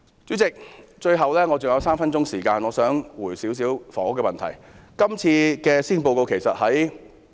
主席，我還有3分鐘時間發言，我想就房屋問題作一些回應。